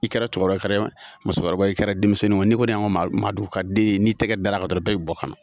I kɛra cɛkɔrɔba, i kɛra musokɔrɔba , i kɛra denmisɛnninw ye ni kɔni ye an ka Maadugu ka den n'i tɛgɛ dara kan dɔrɔn bɛɛ be bɔ ka na.